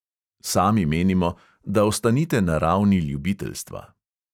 Sami menimo, da ostanite na ravni ljubiteljstva.